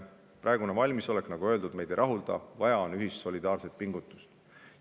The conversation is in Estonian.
Praegune valmisolek, nagu öeldud, meid ei rahulda, vaja on ühist solidaarset pingutust.